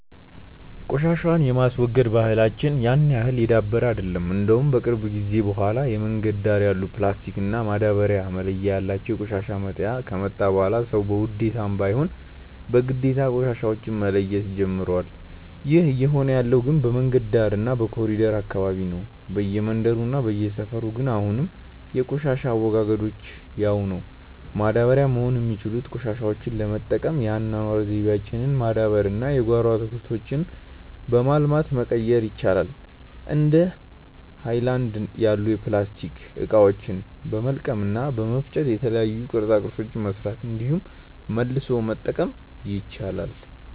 ቆሻሻን የማስወገድ ባህላች ያን ያህል የዳበረ አይደለም። እንደውም ከቅርብ ጊዜ በኋላ የመንገድ ዳር ያሉ ፕላስቲክ እና ማዳበርያ መለያ ያላቸው የቆሻሻ መጣያ ከመጣ በኋላ ሰዉ በውዴታም ባይሆን በግዴታ ቆሻሻዎች መለየት ጀምሮዋል። ይህ እየሆነ ያለው ግን በመንገድ ዳር እና በኮሪደሩ አካባቢ ነው። በየመንደሩ እና በየሰፈሩ ግን አሁንም የቆሻሻ አወጋገዳችን ያው ነው። ማዳበሪያ መሆን የሚችሉትን ቆሻሾች ለመጠቀም የአኗኗር ዘይቤያችንን ማዳበር እና የጓሮ አትክልቶችን በማልማት መቀየር ይቻላል። እንደ ሀይለናድ ያሉ የፕላስቲክ እቃዎችን በመልቀም እና በመፍጨ የተለያዩ ቅርፃ ቅርፆችን መስራት እንዲሁም መልሶ መጠቀም ይቻላል።